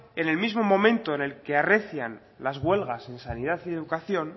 en el mismo momento en el que arrecian las huelgas en sanidad y en educación